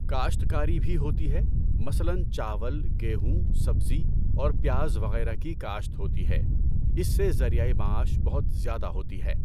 کاشتکاری بھی ہوتی ہے مثلاً چاول گیہوں سبزی اور پیاز وغیرہ کی کاشت ہوتی ہے اس سے ذریعۂ معاش بہت زیادہ ہوتی ہے۔